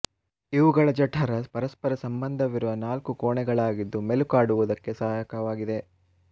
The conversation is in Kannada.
ಇವುಗಳ ಜಠರ ಪರಸ್ಪರ ಸಂಬಂಧವಿರುವ ನಾಲ್ಕು ಕೋಣೆಗಳಾಗಿದ್ದು ಮೆಲುಕಾಡುವುದಕ್ಕೆ ಸಹಾಯಕವಾಗಿದೆ